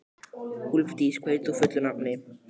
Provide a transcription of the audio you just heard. Úlfdís, hvað heitir þú fullu nafni?